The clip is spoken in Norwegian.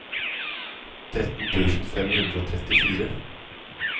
tretten tusen fem hundre og trettifire